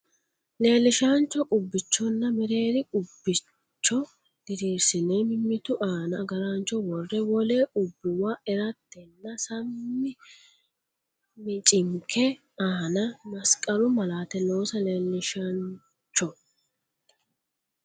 Leellishaancho qubbichonna mereeri qub- bicho diriirsine mimmitu aana agaraancho worre wole qubbuwa eranteenna sam- michinke aana masqalu malaate loosa Leellishaancho.